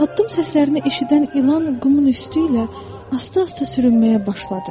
Addım səslərini eşidən ilan qumun üstü ilə asta-asta sürünməyə başladı.